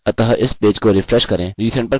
अतः इस पेज को रिफ्रेश करें